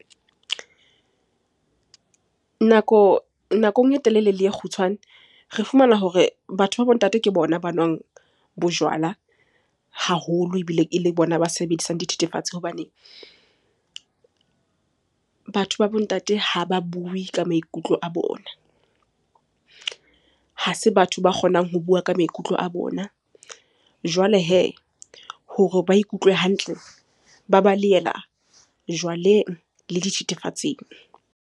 Nako, nakong e telele le e kgutshwane. Re fumana hore batho ba bo ntate ke bona ba nwang bojwala haholo ebile ele bona ba sebedisang dithethefatsi. Hobane batho ba bo ntate ha ba bue ka maikutlo a bona, ha se batho ba kgonang ho bua ka maikutlo a bona. Jwale hee hore ba ikutlwe hantle, ba balehela jwaleng le dithethefatsing.